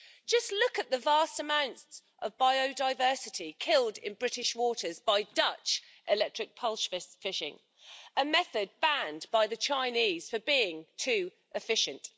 Just look at the vast amounts of biodiversity killed in British waters by Dutch electric pole fishing a method banned by the Chinese for being too efficient.